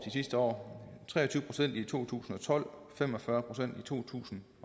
sidste år tre og tyve procent i to tusind og tolv fem og fyrre procent i to tusind